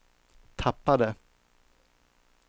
tappade